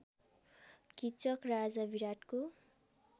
किचक राजा विराटको